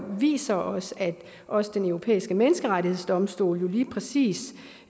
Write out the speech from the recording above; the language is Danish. viser os at også den europæiske menneskrettighedsdomstol lige præcis